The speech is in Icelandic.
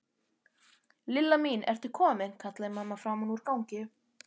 Lilla mín, ertu komin? kallaði mamma framan úr gangi.